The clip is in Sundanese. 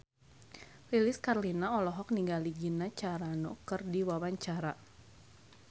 Lilis Karlina olohok ningali Gina Carano keur diwawancara